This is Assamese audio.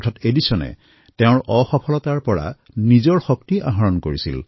অৰ্থাৎ এডিছনে নিজৰ অসফলতাকো নিজৰ শক্তি কৰি লৈছিল